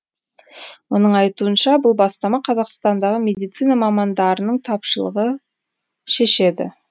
оның айтуынша бұл бастама қазақстандағы медицина мамандарының тапшылығы шешеді